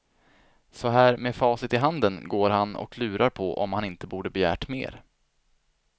Så här med facit i handen går han och lurar på om han inte borde begärt mer.